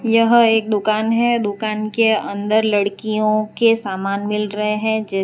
यह एक दुकान है दुकान के अंदर लड़कियों के सामान मिल रहे हैं।